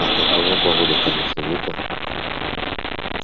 а какова погода кажется ветер